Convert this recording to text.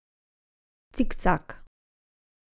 Cikcak.